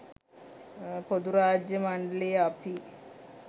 පොදුරාජ්‍ය මණ්ඩලයේ අපි